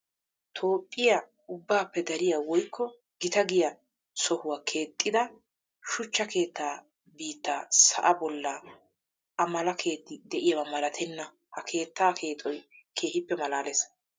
Toophphiya ubbappe dariya woykko gita giya sohuwa keexxettidda shuchcha keetta biitta sa'a bolla a mala keetti de'iyaba malattenna. Ha keetta keexxoy keehippe malaales.